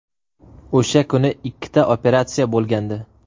O‘sha kuni ikkita operatsiya bo‘lgandi.